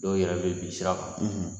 Dɔw yɛrɛ bɛ bin sira kan